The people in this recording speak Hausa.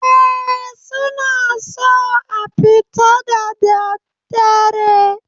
Eh, suna so a fita da daddare